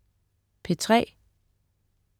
P3: